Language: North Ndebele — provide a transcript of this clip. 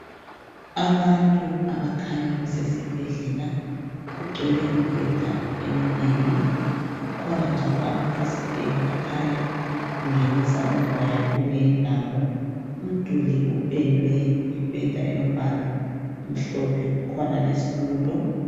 Abantu abakhanya besesibhedlela ,kugcwele imibheda eminengi .Kukhona njalo amafasiteli akhanya engenisa umoya kuleyi indawo. Umduli uphendiwe ,ngephenda elombala omhlophe kukhona lezithulo.